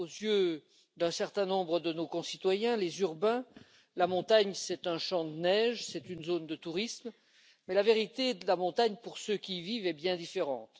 Aux yeux d'un certain nombre de nos concitoyens les urbains la montagne, c'est un champ de neige, c'est une zone de tourisme, mais la vérité de la montagne, pour ceux qui y vivent, est bien différente.